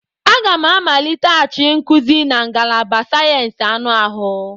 Aga m a amaliteghachi nkuzi na ngalaba sayensị anụ ahụ.